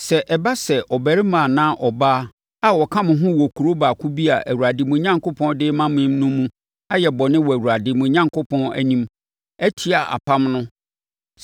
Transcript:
Sɛ ɛba sɛ ɔbarima anaa ɔbaa a ɔka mo ho wɔ kuro baako bi a Awurade, mo Onyankopɔn, de rema mo no mu ayɛ bɔne wɔ Awurade, mo Onyankopɔn, anim, atia apam no